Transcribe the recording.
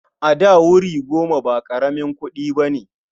A da, wuri goma ba ƙaramin kuɗi ba ne.